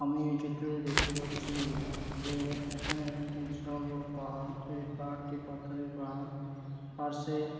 আমি এই চিত্রয় দেখতে পাচ্ছি | যে এখানে একটি বিশাল বড়ো পাহাড় এই পাহাড়টি পাথরের পাহাড় |পাশে-- |